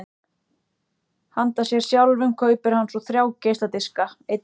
Handa sér sjálfum kaupir hann svo þrjá geisladiska: einn með